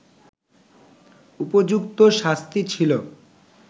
উপযুক্ত শাস্তি ছিলো